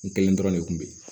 N kelen dɔrɔn de kun bɛ yen